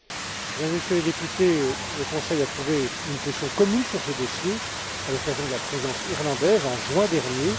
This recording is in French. Mesdames et Messieurs les députés, le Conseil a trouvé une position commune sur ce dossier à l'occasion de la Présidence irlandaise, en juin dernier.